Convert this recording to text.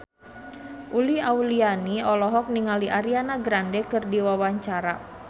Uli Auliani olohok ningali Ariana Grande keur diwawancara